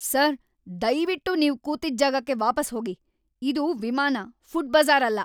Sir, ದಯ್ವಿಟ್ಟು ನೀವು ಕೂತಿದ್ದ್‌ ಜಾಗಕ್ಕೆ ವಾಪಸ್‌ ಹೋಗಿ. ಇದು ವಿಮಾನ, ಫುಡ್ ಬಜ಼ಾರ್ ಅಲ್ಲ!